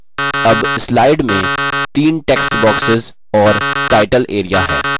अब slide में the text boxes और टाइटल area हैं